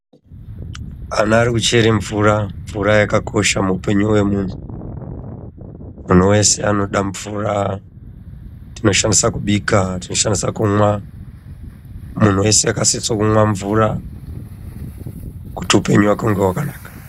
Ana ari kuchere mvura mvura yakatosha muupenyu wemunhu munhu weshe anoda mvura tinoshandisa kubika tinoshandisa kumwa munhu wese akasisa kumwa mvura kuti upenyu hwake hunge hwakanaka.